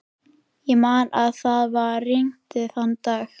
Ég man að það var rigning þann dag.